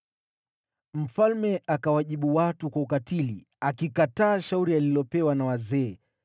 Mfalme akawajibu watu kwa ukatili. Akikataa shauri alilopewa na wazee,